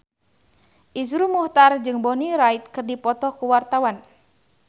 Iszur Muchtar jeung Bonnie Wright keur dipoto ku wartawan